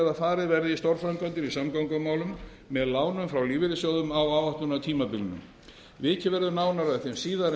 að farið verði í stórframkvæmdir í samgöngumálum með lánum frá lífeyrissjóðum á áætlunartímabilinu vikið verður nánar að þeim síðar en gert